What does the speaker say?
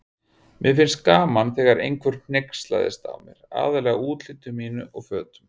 Mér fannst gaman þegar einhver hneykslaðist á mér, aðallega útliti mínu og fötum.